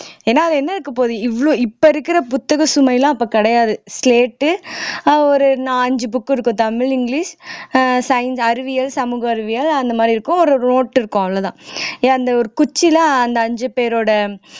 ஏன்னா அதுல என்ன இருக்கப்போகுது இவ்வளவு இப்ப இருக்கிற புத்தக சுமையெல்லாம் அப்ப கிடையாது slate உ அஹ் ஒரு நா அஞ்சு book உ இருக்கும் தமிழ் இங்கிலிஷ் அஹ் science அறிவியல் சமூக அறிவியல் அந்த மாதிரி இருக்கும் ஒரு note இருக்கும் அவ்வளவுதான் ஏன் அந்த ஒரு குச்சியில அந்த அஞ்சு பேரோட